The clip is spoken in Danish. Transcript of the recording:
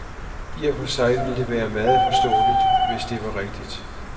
I og for sig ville det være meget forståeligt, hvis det var rigtigt.